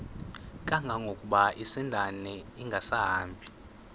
kangangokuba isindane ingasahambi